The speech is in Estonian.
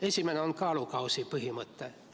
Esimene on kaalukausi põhimõte.